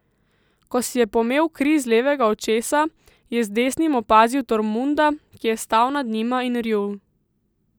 Ko si je pomel kri z levega očesa, je z desnim opazil Tormunda, ki je stal nad njima in rjul.